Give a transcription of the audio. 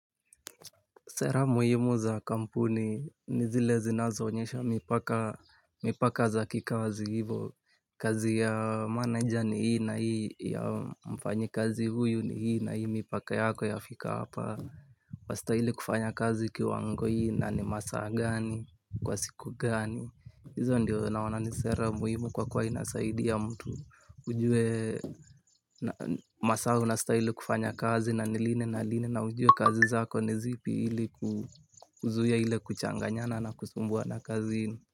Sera muhimu za kampuni, nizile zinazo onyesha mipaka za kikazi hivyo. Kazi ya manager ni hii na hii ya mfanyikazi huyu ni hii na hii mipaka yako yafika hapa. Wastahili kufanya kazi kiwango hii na ni masaa gani, kwa siku gani. Hizo ndio naona ni sera muhimu kwa kua inasaidia mtu. Ujue masaa unastahili kufanya kazi na ni lini na line na ujue kazi zako ni zipi hili. Kuzuia ila kuchanganyana na kusumbua na kazini.